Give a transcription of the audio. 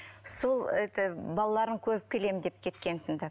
сол это балаларын көріп келем деп кеткентін ді